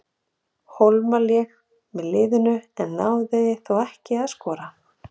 Hólmar lék með liðinu, en náði þó ekki að skora.